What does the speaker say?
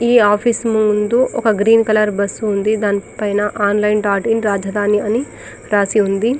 ఈ ఆఫీస్ ముందు green colour bus ఉంది దాని పైన ఆన్లైన్ఇన్ అని రాసి ఉంది.